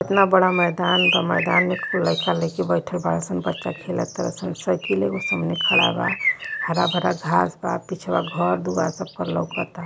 इतना बड़ा मैदान बा मैदान में लइका लईकी बइठल बाड़ स लइका खेलत बाड़ स साइकिल एगो सामने खड़ा बा हरा भरा घास था पिछवा घर दुवार लउकता सबके।